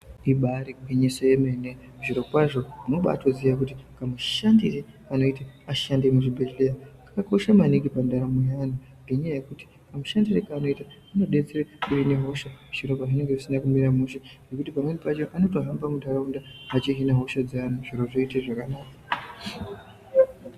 Ibari gwinyiso yemene zviro kwazvo unobatoziye kuti kamushandire kanoite vashandi vemuzvibhedhleya kakakosha maningi pandaraunda ngenyaya yekuti kamushandire kavanoita kanodetsere kuhine hosha zviro pazvinenge zvisina kumira mushe ngekuti pamweni pachona anotohamba mundaraunda achihine hosha dzeantu zviro zvoite zvakanaka.